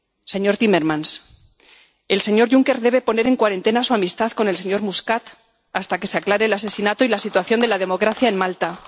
Señor Timmermans, el señor Juncker debe poner en cuarentena su amistad con el señor Muscat hasta que se aclare el asesinato y la situación de la democracia en Malta.